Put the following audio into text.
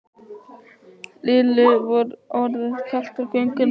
Lillu var orðið kalt á göngunni.